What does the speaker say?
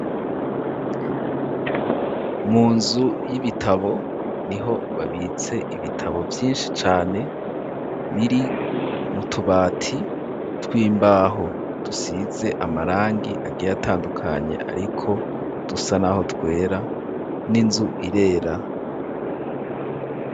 Mu nzu y'ibitabo niho babitse ibitabo vyishi cane biri mu tubati tw'imbaho dusize amarangi agiye atandukanye ariko dusa naho twera n'inzu irera